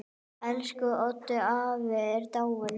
Elsku Oddur afi er dáinn.